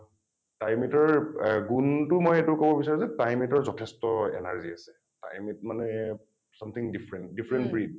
time eight ৰ uh গুণটো মই মই এইটো কব বিচাৰো যে time eight ৰ যথেষ্ট energy আছে । time eight মানে something different , different breed